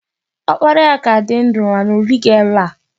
Ọkpara ya ka di ndụ, mana o bighi ebe a.